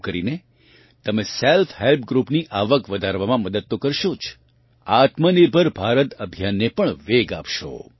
આમ કરીને તમે સેલ્ફ હેલ્પ ગ્રૃપની આવક વધારવામાં મદદ તો કરશો જ આત્મનિર્ભર ભારત અભિયાન ને પણ વેગ આપશો